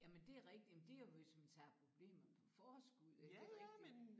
Jamen det er rigtigt jamen det er hvis man tager problemerne på forskud det rigtigt